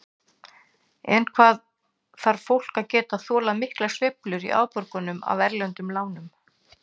En hvað þarf fólk að geta þolað miklar sveiflur í afborgunum af erlendu lánunum?